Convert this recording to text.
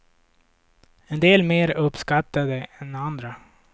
En del mer uppskattade än andra.